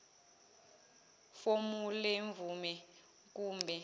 fomu lemvume kumbe